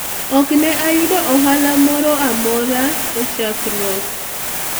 ok ne ayudo ohala moro amoro e chakruok